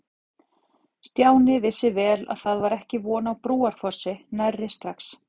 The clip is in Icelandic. Stjáni vissi vel að það var ekki von á Brúarfossi nærri strax.